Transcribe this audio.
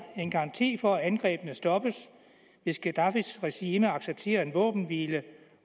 en garanti for at angrebene stoppes hvis gaddafis regime accepterer en våbenhvile